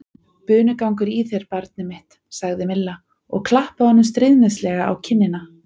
Bunugangur í þér, barnið mitt sagði Milla og klappaði honum stríðnislega á kinnina.